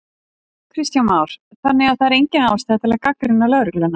Kristján Már: Þannig að það er engin ástæða til þess að gagnrýna lögregluna?